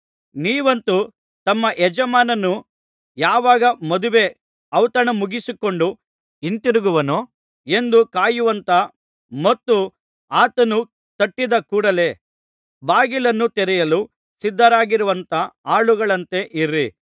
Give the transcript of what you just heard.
ನೀವಂತೂ ತಮ್ಮ ಯಜಮಾನನು ಯಾವಾಗ ಮದುವೆ ಔತಣ ಮುಗಿಸಿಕೊಂಡು ಹಿಂತಿರುಗುವನೋ ಎಂದು ಕಾಯುವಂಥ ಮತ್ತು ಆತನು ತಟ್ಟಿದ ಕೂಡಲೆ ಬಾಗಿಲನ್ನು ತೆರೆಯಲು ಸಿದ್ಧರಾಗಿರುವಂಥ ಆಳುಗಳಂತೆ ಇರಿ